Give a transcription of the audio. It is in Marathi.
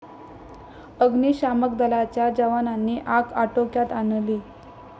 अग्निशामक दलाच्या जवानांनी आग आटोक्यात आणली.